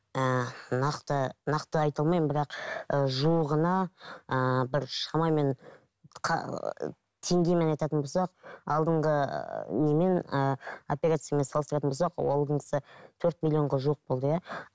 ііі нақты нақты айта алмаймын бірақ ыыы жуығына ыыы бір шамамен теңгемен айтатын болсақ алдыңғы немен ыыы операциямен салыстыратын болсақ алдыңғысы төрт миллионға жуық болды иә